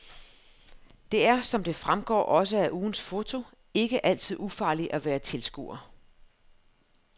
Det er, som det fremgår også af ugens foto, ikke altid ufarligt at være tilskuer.